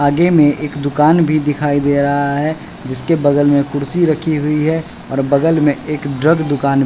आगे में एक दुकान भी दिखाई दे रहा है जिसके बगल में कुर्सी रखी हुई है और बगल में एक ड्रग दुकान--